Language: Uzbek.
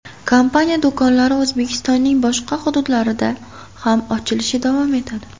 Kompaniya do‘konlari O‘zbekistonning boshqa hududlarida ham ochilishi davom etadi.